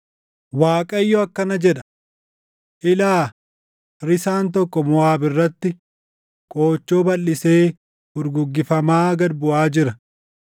Waaqayyo akkana jedha: “Ilaa! Risaan tokko Moʼaab irratti qoochoo balʼisee furguggifamaa gad buʼaa jira.